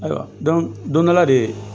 Ayiwa, don dɔ la de